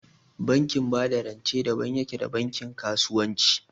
Bankin ba da rance daban yake da bankin kasuwanci